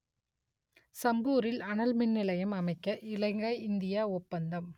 சம்பூரில் அணல் மின்நிலையம் அமைக்க இலங்கை இந்தியா ஒப்பந்தம்